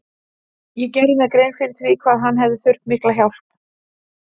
Ég gerði mér grein fyrir því hvað hann hefði þurft mikla hjálp.